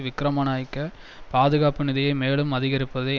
விக்கிரமநாயக்க பாதுகாப்பு நிதியை மேலும் அதிகரிப்பதை